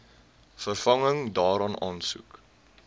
vervanging daarvan aansoek